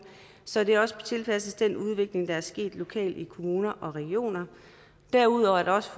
så det også tilpasses den udvikling der er sket lokalt i kommuner og regioner derudover er det også